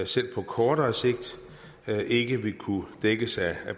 selv på kortere sigt ikke vil kunne dækkes af